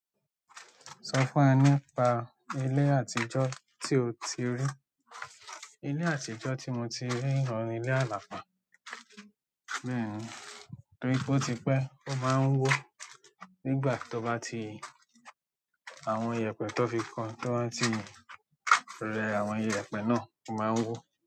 Sọ fún wa nípa ilé àtijọ́ tí o ti rí. Ilé àtijọ́ tí mo ti rí, ọ̀ùn ni ilé àlàpàá. Bẹ́ẹ̀ni torí pe o tí pẹ́, ó máa ń wó. Nígbà to bá ti àwọn iyẹ̀pẹ̀ tón fi ko, to ba ti rẹ àwọn iyẹ̀pẹ̀ náà, ó máa ń wó.